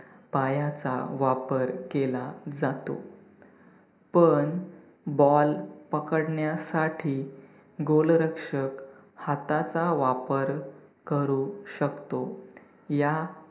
पायाचा वापर केला जातो पण ball पकडण्यासाठी goal रक्षक हाताचा वापर करू शकतो. या